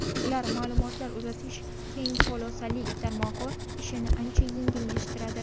Ular ma’lumotlar uzatish keng polosali tarmog‘i ishini ancha yengillashtiradi.